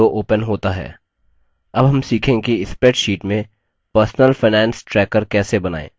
अब हम सीखेंगे कि spreadsheet में personal finance tracker कैसे बनाएँ